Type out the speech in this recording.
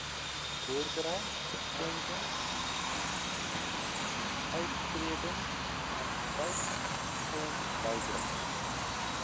boerdery skenkings uittredingannuïteitsfondsbydraes